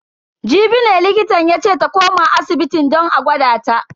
Jibi ne likitan yace ta koma asibitin don a gwada ta.